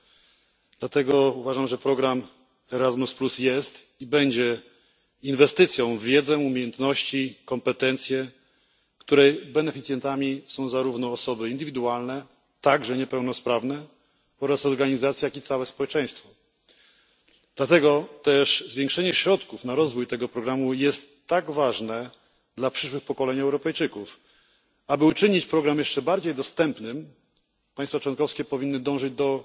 Z powyższych powodów uważam, że program Erasmus jest i będzie inwestycją w wiedzę, umiejętności i kompetencje, których beneficjentami są zarówno osoby indywidualne, w tym niepełnosprawne, i organizacje, jak i całe społeczeństwo, i dlatego zwiększenie środków na rozwój programu jest tak ważne dla przyszłych pokoleń Europejczyków. Aby uczynić program jeszcze bardziej dostępnym, państwa członkowskie powinny dążyć